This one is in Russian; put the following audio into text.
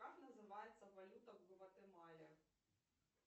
как называется валюта в гватемале